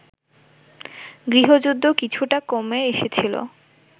গৃহযুদ্ধ কিছুটা কমে এসেছিল